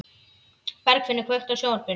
Bergfinnur, kveiktu á sjónvarpinu.